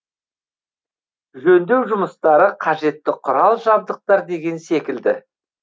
жөндеу жұмыстары қажетті құрал жабдықтар деген секілді